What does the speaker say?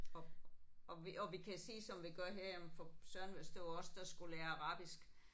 Og og vi og vi kan sige som vi gør her jamen for søren hvis det var os der skulle lære arabisk